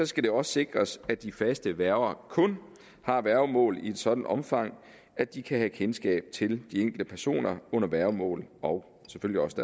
skal det også sikres at de faste værger kun har værgemål i et sådant omfang at de kan have kendskab til de enkelte personer under værgemål og selvfølgelig også